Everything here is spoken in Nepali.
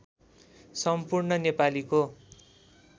सम्पूर्ण नेपालीको